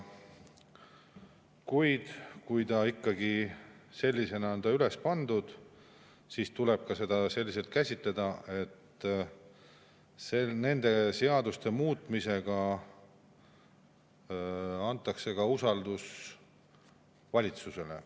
Kuid kui ikkagi sellisena on see üles pandud, siis tuleb seda ka selliselt käsitleda, et nende seaduste muutmisega antakse ka usaldus valitsusele.